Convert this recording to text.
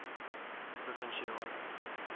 provinsiale